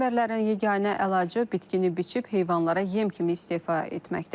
Fermerlərin yeganə əlacı bitkini biçib heyvanlara yem kimi istifa etməkdə.